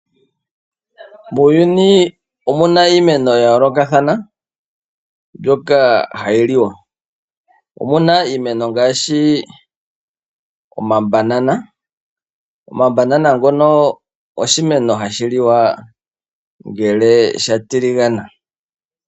Muuyuni omuna iimeno ya yoolokathana mbyoka hayi liwa. Omuna iimeno ngaashi omabanana. Omabanana ngono oshimeno hashi liwa ngele sha tiligana.